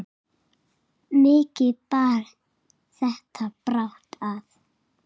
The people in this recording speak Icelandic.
Mikið bar þetta brátt að.